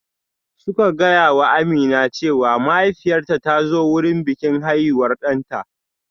Suka gaya wa Amina cewa mahaifiyarta ta zo wurin bikin haihuwar ɗanta